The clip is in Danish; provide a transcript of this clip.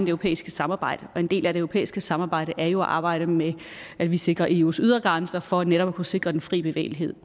europæiske samarbejde og en del af det europæiske samarbejde er jo at arbejde med at vi sikrer eus ydre grænser for netop at kunne sikre den fri bevægelighed